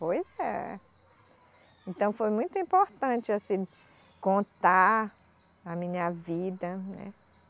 Pois é. Então foi muito importante assim contar a minha vida, né.